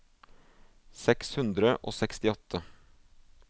seks hundre og sekstiåtte